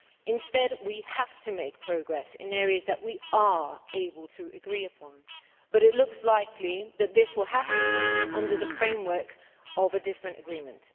Instead, we have to make progress in areas that we are able to agree upon but it looks likely that this will have to come under the framework of a different agreement.